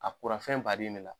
A kura fɛn baden ne la.